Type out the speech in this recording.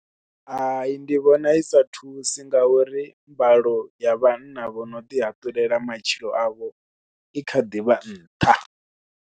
Hai ndi vhona i sa thusi ngauri mbalo ya vhanna vho no ḓihatulela matshilo avho i kha ḓi vha nṱha.